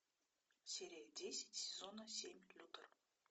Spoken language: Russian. серия десять сезона семь лютер